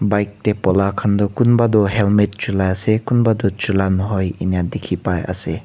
bike tae pola khan toh kunba toh helmet chula ase kunba toh chulai nahoi ena dikhi paiase.